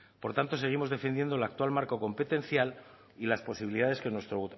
por tanto seguimos defendiendo el actual marco competencial y las posibilidades que nuestro